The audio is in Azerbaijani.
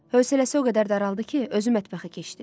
Hövəsələsi o qədər daraldı ki, özü mətbəxə keçdi.